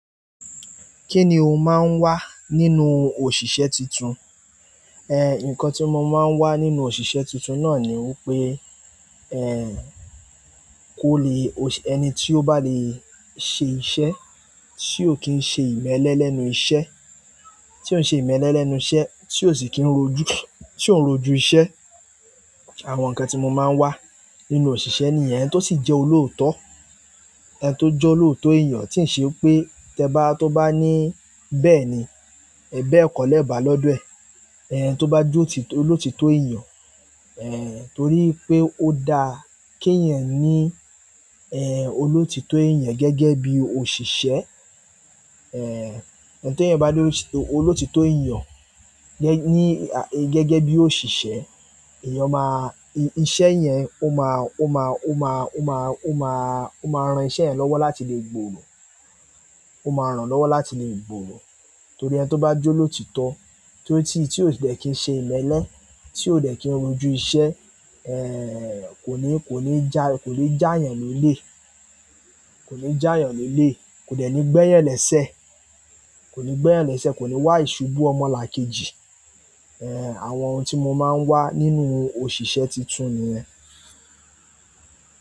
Kí ni ó máa ń wà nínú òṣìṣẹ́ titun? Nǹkan tí mo má ń wà nínú òṣìṣẹ́ tún tún ná wí pé, kò le, ẹni tí ó bá lè ṣe iṣẹ́, tí ó kí ń ṣe ìmẹ́lẹ́ lẹ́nu iṣẹ́, tí ó ń ṣe ìmẹ́lẹ́ lẹ́nu iṣẹ́, tí ó dé kí n rọ́jú àwọn nǹkan tí mo máa ń wà nínú òṣìṣẹ́ ni ìyẹn, ẹni tó sì jẹ́ olóòótọ́. Ẹni tó jẹ́ olóòótọ́ èèyàn, ti ń ṣe pé tẹ́ bá, tó bá ní bẹ́ẹ̀ ní, bẹ kọ́lé bá lódo ẹ̀. Ẹ̀hń, tó bá jọ ti, tó lóòótọ́ èèyàn, ẹ̀hń, torí pé ó dá kí ẹ̀yin ní, ẹ̀hń, olóòtítọ́ èèyàn gẹ́gẹ́ bí òṣìṣẹ́. Ẹ̀hń, ẹni tí èèyàn bá lọ òsì, olóòtítọ́ èèyàn, gé ní, gẹ́gẹ́ bí òṣìṣẹ́, èèyàn máa, iṣẹ́ yẹn ó máa, ó máa, ó máa, ó máa, ó máa, ó máa ran iṣẹ́ yẹn lọ́wọ́ láti lè gbòòrò. Ó máa ràn lọ́wọ́ láti lè gbòòrò. Torí ẹni tó bá jọ loótìtọ́, tí ó ti, tí ó dé kí ń ṣe ìmẹ́lẹ́, tí ó déki ń rọ́jú iṣẹ́, ẹ̀hń, kò ní, kò ní jà, kò lè já èèyàn lọ́lẹ̀. Kò ní já èèyàn lọ́lẹ̀, kò déki ń gbéyẹlẹ́sẹ́, kò ní gbéyẹlẹ́sẹ́, kọ́ ni wá ìṣubú ọmọlàkejì. Ẹ̀hń, àwọn ohun tí mo máa ń wà nínú òṣìṣẹ́ titun nìyẹn.